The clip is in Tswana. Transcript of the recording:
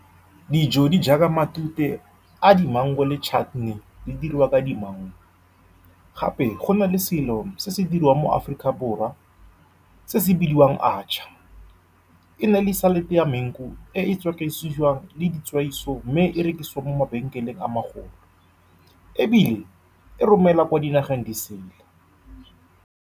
Dijo di jaaka matute a di-mangu le di-chutney di diriwa ka di-mangu. Gape, go nale selo se se diriwang mo Aforika Borwa se se bidiwang atchar. E na le salad-e ya mangu e e le ditswaiso, mme e rekisiwa mo mabenkeleng a magolo ebile e romelwa kwa dinageng di sele.